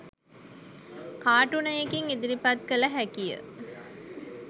කාටුනයකින් ඉදිරිපත් කළ හැකිය